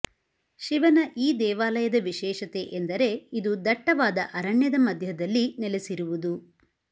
ಶಿವನ ಈ ದೇವಾಲಯದ ವಿಶೇಷತೆ ಎಂದರೆ ಇದು ದಟ್ಟವಾದ ಅರಣ್ಯದ ಮಧ್ಯದಲ್ಲಿ ನೆಲೆಸಿರುವುದು